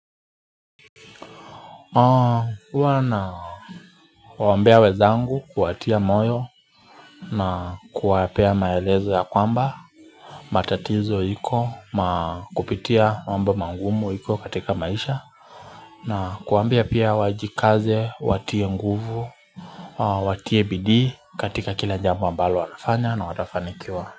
Huwa na kuwaombea wenzangu kuwatia moyo na kuwapea maelezo ya kwamba matatizo iko na kupitia mambi mangumu iko katika maisha na kuwambia pia wajikaze watie nguvu Watie bidii katika kila jambo ambalo wanafanya na watafanikiwa.